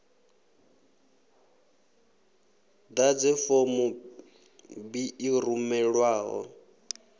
ḓadze form b i rumelwaho